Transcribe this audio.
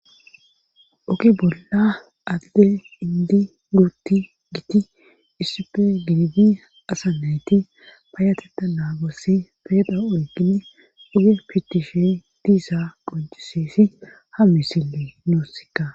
oge bolla adde indi guutti giti issife gididi asa nayti payatetta naagossi peeda oykini oge pitishe diiza qoncisesi ha misille nuussikka